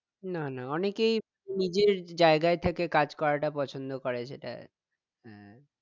না না অনেকেই নিজের জায়গায় থেকে কাজ করাটা পছন্দ করে সেটাই হ্যাঁ